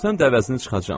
Ölsən dəhlizdən çıxacam.